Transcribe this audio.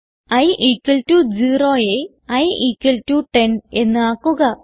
i equal to 0യെ i equal to 10 എന്ന് ആക്കുക